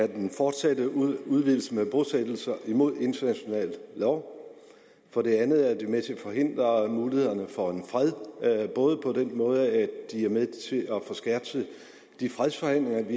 den fortsatte udvidelse med bosættelser imod international lov for det andet er det med til at forhindre mulighederne for en fred både på den måde at de er med til at forskertse de fredsforhandlinger